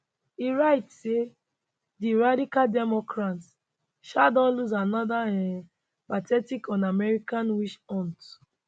e write say di radical democrats um don lose anoda um pathetic unamerican witch hunt